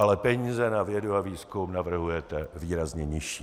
Ale peníze na vědu a výzkum navrhujete výrazně nižší.